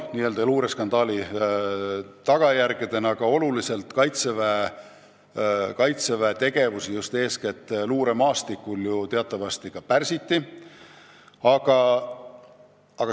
Selle luureskandaali tagajärjel sai Kaitseväe tegevus eeskätt luuremaastikul teatavasti olulisel määral pärsitud.